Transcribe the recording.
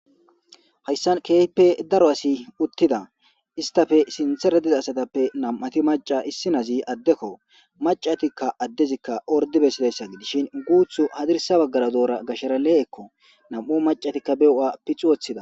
Hayssan keepe daro asi uttida istafe sinthera diza asatappe nam7ati maca issinazi addekko macatikka addezikka ordibesilessa gidishin guuthu hadirisa baggara doora gashara le7ekko nam7o macatikka beo7a pixu woththida.